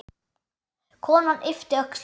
Konan yppti öxlum.